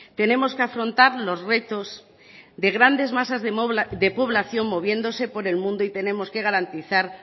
tenemos que afrontar los retos de grandes masas de población moviéndose por el mundo y tenemos que garantizar